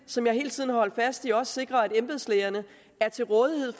som jeg hele tiden har holdt fast i også sikre at embedslægerne er til rådighed